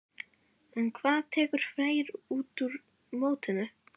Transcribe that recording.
En hvað tekur Freyr út úr mótinu?